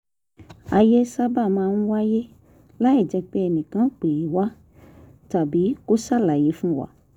ayé sábà máa ń wáyé láìjẹ́ pé ẹnì kan pè wá tàbí kó ṣàlàyé fún wa